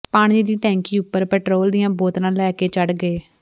ਪਾਣੀ ਦੀ ਟੈਂਕੀ ਉੱਪਰ ਪੈਟਰੋਲ ਦੀਆਂ ਬੋਤਲਾਂ ਲੈ ਕੇ ਚੜ੍ਹ ਗਏ